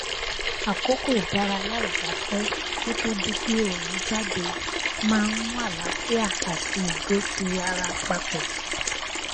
àkókò ìdárayá ìgbafẹ kó tó di pé òòrùn jáde maá n mú àlààfíà àti ìgbé kiri ara papọ